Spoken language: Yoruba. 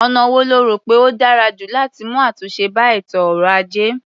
Ọ̀nà wo lo rò pé ó dára jù láti mú àtúnṣe bá ètò ọrọ̀-ajé?